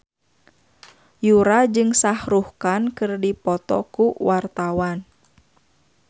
Yura jeung Shah Rukh Khan keur dipoto ku wartawan